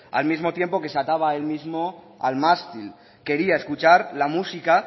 al mismo tiempo que se ataba él mismo al mástil quería escuchar la música